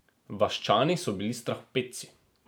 Vaščani so bili strahopetci.